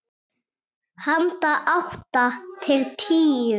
Handa átta til tíu